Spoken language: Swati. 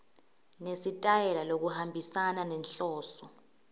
nesitayela lokuhambisana nenhloso